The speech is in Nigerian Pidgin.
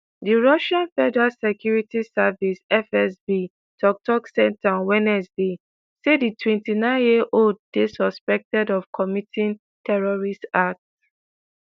di russian federal security service (fsb) tok-tok centre on wednesday say di 29-year-old dey "suspected of committing terrorist act".